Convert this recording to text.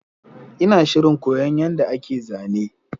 Ina shirin koyon yadda ake zane